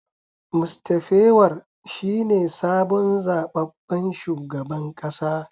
Mr pewar shine sabon zababben shugaban kasa